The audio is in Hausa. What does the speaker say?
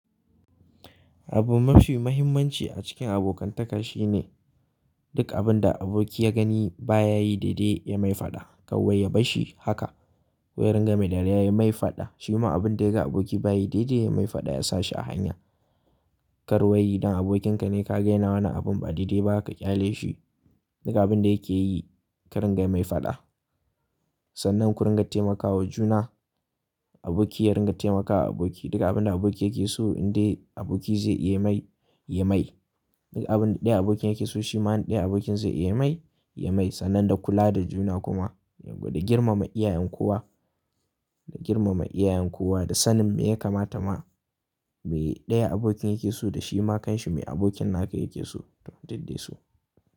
Abu mafi muhimmanci a cikin abokantaka shine duk abin da aboki ya gani baya yi daidai ya mai faɗa. Kawai ya barshi haka, wai ya ringa mai dariya ya mai faɗa. Shi ma abin da ya ga aboki baya yi daidai ya mai faɗa, ya sa shi a hanya. Kar wai idan abokinka ne ka ga yana wani abun ba daidai ba ka ƙyale shi, daga abin da yake yi ka ringa mai faɗa. Sannan ku ringa taimakawa juna, aboki ya ringa taimakawa aboki. Duka abin da aboki yake so in dai aboki zai iya mai, ya mai. Duka abin da ɗaya abokin yake so shi ma ɗaya abokin zai iya mai, ya mai sannan da kula da juna kuma. Wada girmama iyayen kowa, girmama iyayen kowa da sanin me ya kamata ma. Me ɗaya abokin yake so da shi ma kanshi me abokin naka yake so don taɗaɗe su.